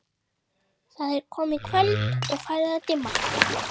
Það er komið kvöld og farið að dimma.